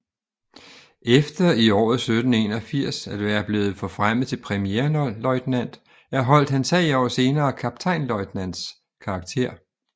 Efter i året 1781 at være blevet forfremmet til premierløjtnant erholdt han 3 år senere kaptajnløjtnants karakter